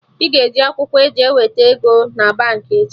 Ị ga-eji akwụkwọ e ji eweta ego na Baankị echi